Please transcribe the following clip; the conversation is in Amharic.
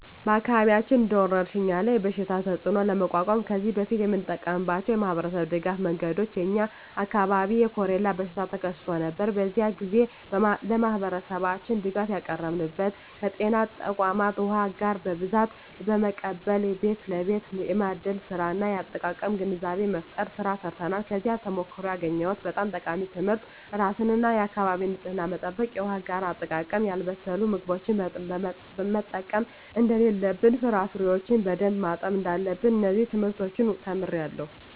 በአካባቢያችን እንደ ወረርሽኝ ያለ የበሽታ ተፅእኖ ለመቋቋም ከዚህ በፊት የተጠቀምንባቸው የማኅበረሰብ ድጋፍ መንገዶች የ የኛ አካባቢ የኮሬላ በሽታ ተከስቶ ነበር። በዚያ ግዜ ለማህበረሠባችን ድጋፍ ያቀረብንበት ከጤና ተቋማት ዉሃ አጋር በብዛት በመቀበል ቤት ለቤት የማደል ስራ እና የአጠቃቀም ግንዛቤ መፍጠር ስራ ሰርተናል። ከዚያ ተሞክሮ ያገኘሁት በጣም ጠቃሚ ትምህርት የራስን እና የአካቢን ንፅህና መጠበቅ፣ የውሃ አጋር አጠቃቀም፣ ያልበሰሉ ምግቦችን መጠቀም እደለለብን፣ ፍራፍሬዎችን በደንብ ማጠብ እዳለብን። እነዚን ትምህርቶች ተምሬአለሁ።